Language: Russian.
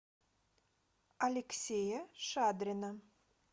алексея шадрина